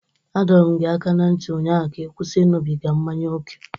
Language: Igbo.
A dọrọ m gị aka na ntị ụnyaahụ ka ị kwụsị ịṅụbiga mmanya ókè!